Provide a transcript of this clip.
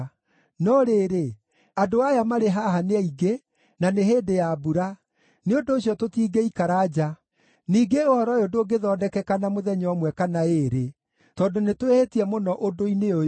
No rĩrĩ, andũ aya marĩ haha nĩ aingĩ, na nĩ hĩndĩ ya mbura; nĩ ũndũ ũcio tũtingĩikara nja. Ningĩ ũhoro ũyũ ndũngĩthondekeka na mũthenya ũmwe kana ĩĩrĩ, tondũ nĩtwĩhĩtie mũno ũndũ-inĩ ũyũ.